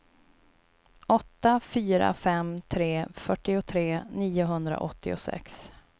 åtta fyra fem tre fyrtiotre niohundraåttiosex